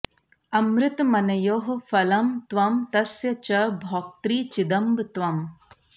अमृतमनयोः फलं त्वं तस्य च भोक्त्री चिदम्ब त्वम्